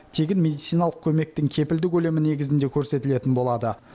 тегін медициналық көмектің кепілді көлемі негізінде көрсетілетін болады